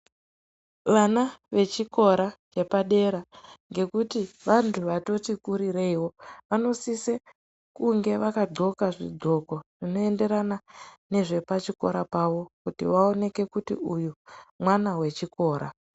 Vana vechikora chepadera ngekuti vantu vatoti kurireiwo vanosose kunge vakadxoka zvidxoko zvinoenderana nezvepachikora pavo kuti vaoneke kuti uyu mwana wechikora.